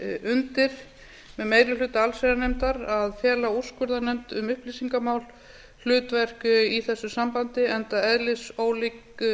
undir með meiri hluta allsherjarnefndar að fela úrskurðarnefnd um upplýsingamál hlutverk í þessu sambandi enda eðlisólíkt